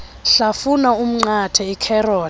hlafuna umnqathe ikherothi